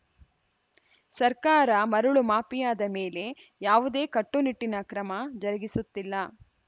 ಸರ್ಕಾರ ಮರಳು ಮಾಫಿಯಾದ ಮೇಲೆ ಯಾವುದೇ ಕಟ್ಟುನಿಟ್ಟಿನ ಕ್ರಮ ಜರುಗಿಸುತ್ತಿಲ್ಲ